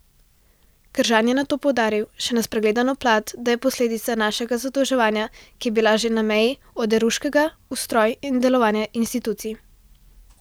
Kržan je nato poudaril še na spregledano plat, da je posledica našega zadolževanja, ki je bilo že na meji oderuškega, ustroj in delovanje institucij.